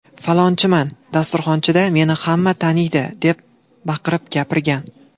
Falonchiman, dasturxonchida meni hamma taniydi’ deb baqirib gapirgan.